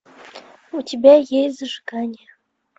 у тебя есть зажигание